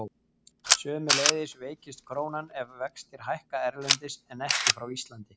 Sömuleiðis veikist krónan ef vextir hækka erlendis en ekki á Íslandi.